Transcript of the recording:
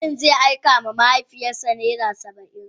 Mutumin zai aika ma mahaifiyar sa naira Saba'in.